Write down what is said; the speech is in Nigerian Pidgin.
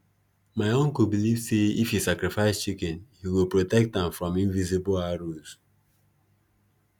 my uncle believe say if he sacrifice chicken he go protect am from invisible arrows